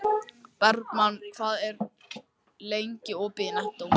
Bergmann, hvað er lengi opið í Nettó?